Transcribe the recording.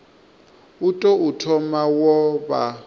u tou thoma wo vha